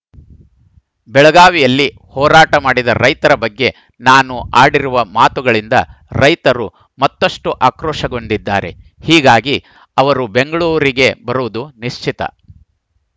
ಬೆಳಗಾವಿಯಲ್ಲಿ ಹೋರಾಟ ಮಾಡಿದ ರೈತರ ಬಗ್ಗೆ ನಾನು ಆಡಿರುವ ಮಾತುಗಳಿಂದ ರೈತರು ಮತ್ತಷ್ಟುಆಕ್ರೋಶಗೊಂಡಿದ್ದಾರೆ ಹೀಗಾಗಿ ಅವರು ಬೆಂಗಳೂರಿಗೆ ಬರುವುದು ನಿಶ್ಚಿತ